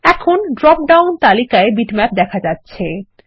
এখন drop down তালিকায় bitmap দেখা যাচ্ছে